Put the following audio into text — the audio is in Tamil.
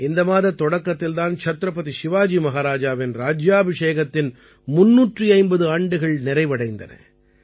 இந்த மாதத் தொடக்கத்தில் தான் சத்ரபதி சிவாஜி மஹாராஜாவின் ராஜ்யாபிஷேகத்தின் 350 ஆண்டுகள் நிறைவடைந்தன